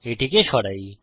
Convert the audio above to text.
এটিকে সরাই